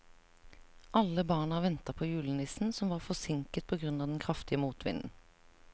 Alle barna ventet på julenissen, som var forsinket på grunn av den kraftige motvinden.